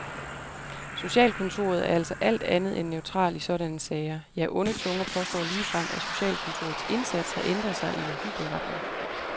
Socialkontoret er altså alt andet end neutral i sådanne sager, ja onde tunger påstår ligefrem, at socialkontorets indsats har ændret sig i en uhyggelig retning.